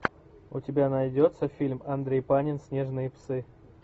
у тебя найдется фильм андрей панин снежные псы